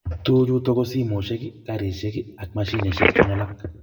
tuguk chuto ko simoshiek karishek ak mashinishik chun alak